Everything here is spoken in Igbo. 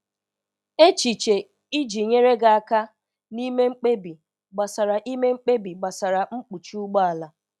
Echiche Iji nyere gị aka na ime mkpebi gbasara ime mkpebi gbasara mkpuchi ụgbọ ala